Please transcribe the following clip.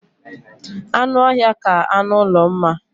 Anụ ọhịa ka anụ ụlọ mma